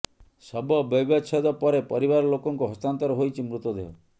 ଶବ ବୈବଚ୍ଛେଦ ପରେ ପରିବାର ଲୋକଙ୍କୁ ହସ୍ତାନ୍ତର ହୋଇଛି ମୃତଦେହ